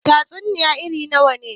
Tatsuniya irn nawa ne?